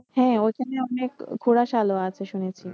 হ্যাঁ ওইখানে অনেক ঘোড়া সালও আছে শুনেছি।